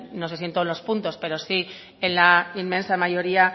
no sé si en todos los puntos pero sí en la inmensa mayoría